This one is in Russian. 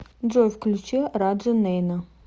джой включи раджа нейна